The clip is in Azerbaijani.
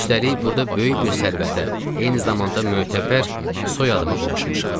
Üstəlik burda böyük bir sərvətə, eyni zamanda mötəbər soyadıma qovuşmuşam.